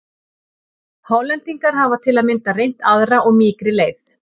Hollendingar hafa til að mynda reynt aðra og mýkri leið.